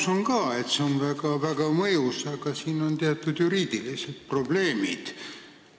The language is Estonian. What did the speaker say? Ma usun ka, et see on väga mõjus samm, aga siin on teatud juriidilised probleemid.